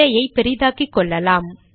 திரையை பெரிதாக்கிக்கொள்ளலாம்